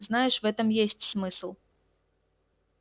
знаешь в этом есть смысл